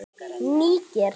Níger